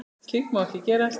Slíkt má ekki gerast.